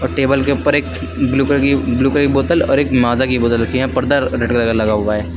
अ table के ऊपर एक ब्लू कलर की ब्लू कलर बोतल और एक मादा की बोतल रखी है। यहाँ पर्दा रेड कलर का लगा हुआ है।